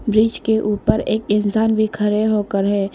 Bridge के ऊपर एक इंसान भी खड़े होकर है।